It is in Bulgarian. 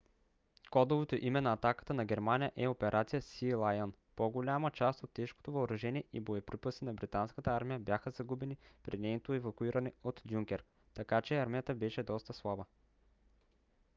кодовото име на атаката на германия е операция сиилайън . по-голяма част от тежкото въоръжение и боеприпаси на британската армия бяха загубени при нейното евакуиране от дюнкерк така че армията беше доста слаба